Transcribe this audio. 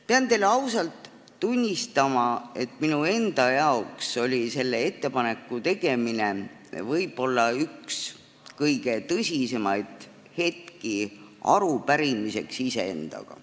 Pean teile ausalt tunnistama, et minu enda jaoks oli selle ettepaneku tegemine võib-olla üks kõige tõsisemaid iseendaga arupidamise hetki.